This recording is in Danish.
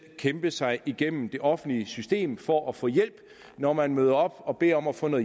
kæmpe sig igennem det offentlige system for at få hjælp når man møder op og beder om at få